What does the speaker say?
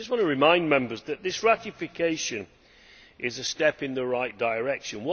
I just want to remind Members that this ratification is a step in the right direction.